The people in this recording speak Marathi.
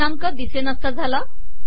दिनांक दिसेनासा झाला